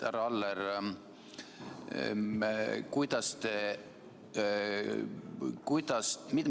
Härra Aller!